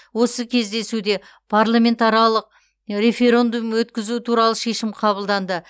осы кездесуде парламентаралық референдум өткізу туралы шешім қабылданды